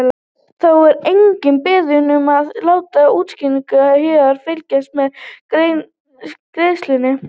Þá er einnig beðið um að láta útskýringuna Héðinn fylgja með greiðslunni.